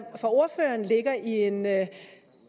for ordføreren ligger i en